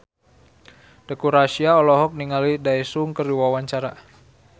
Teuku Rassya olohok ningali Daesung keur diwawancara